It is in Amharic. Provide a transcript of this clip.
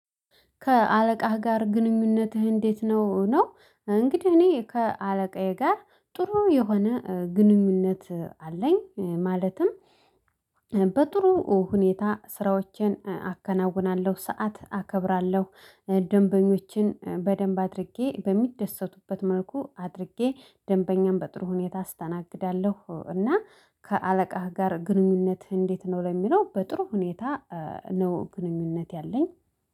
ከአለቃህ ጋር ግንኙነትህ እንዴት ነው? ነው እንግዲህ እኔ ከአለቃዬ ጋር ጥሩ የሆነ ግንኙነት አለኝ ማለትም። በጥሩ ሁኔታ ስራዎችን አከናውናለሁ ሰዓት አከብራለሁ ደንበኞችን በደንብ አድርጌ በሚደሰቱበት መልኩ አድርጌ ደንበኛም በጥሩ ሁኔታ አስተናግዳለሁ። እና ከአለቃህ ጋር ግንኙነትህ እንዴት ነው? ለሚለው በጥሩ ሁኔታ ነው ግንኙነት ያለኝ